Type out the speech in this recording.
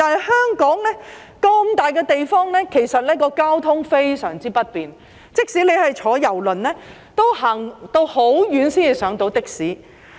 一個這麼大的碼頭，其實交通非常不便，即使是乘搭郵輪，也要走很遠才能乘搭的士。